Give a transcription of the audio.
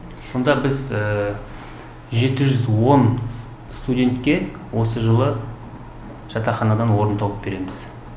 сонда біз жеті жүз он студентке осы жылы жатақханадан орын тауып береміз